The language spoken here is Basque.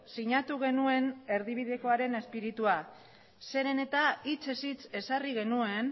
sinatu genuen erdibidekoaren espiritua zeren eta hitzez hitz ezarri genuen